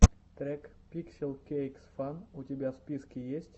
трек пикселкейксфан у тебя в списке есть